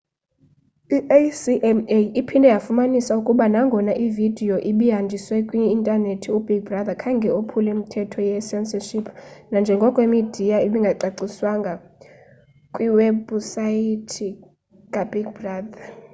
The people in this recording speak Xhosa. i-acma iphinde yafumanisa ukuba nagona ividiyo ibihanjiswa kwi-intanethi ubig brother khange ophule imithetho ye-censorship nanjengoko imidiya ibingagcinwanga kwiwebhusaythi kabig brother